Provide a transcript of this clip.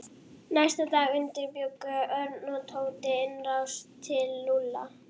Næsta dag undirbjuggu Örn og Tóti innrás til Lúlla.